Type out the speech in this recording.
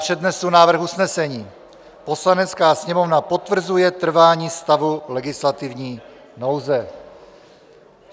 Přednesu návrh usnesení: "Poslanecká sněmovna potvrzuje trvání stavu legislativní nouze."